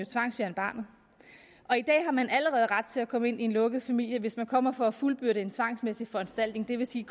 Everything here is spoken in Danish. tvangsfjerne barnet og i dag har man allerede ret til at komme ind i en lukket familie hvis man kommer for at fuldbyrde en tvangsmæssig foranstaltning det vil sige